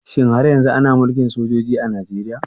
Shin har yanzu ana Mulkin sojoji a Najeriya?